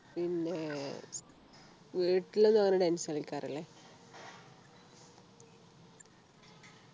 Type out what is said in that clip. പിന്നെ വീട്ടിലൊന്നും അങ്ങനെ Dance കളിക്കാറില്ലേ